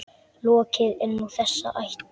Lokið er nú þessi ætlan.